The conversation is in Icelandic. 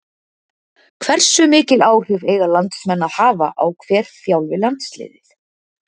Hversu mikil áhrif eiga landsliðsmenn að hafa á hver þjálfi landsliðið?